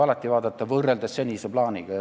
Alati tuleb võrrelda senise plaaniga.